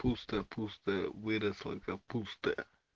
пусто пусто выросла капуста